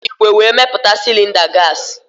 Eji igwe wee meputa cilinda gasi